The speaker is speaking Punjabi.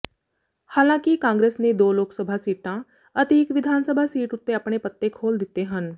ਹਾਲਾਂਕਿ ਕਾਂਗਰਸ ਨੇ ਦੋ ਲੋਕਸਭਾ ਸੀਟਾਂ ਅਤੇ ਇੱਕ ਵਿਧਾਨਸਭਾ ਸੀਟ ਉੱਤੇ ਆਪਣੇ ਪੱਤੇ ਖੋਲ੍ਹੇ ਹਨ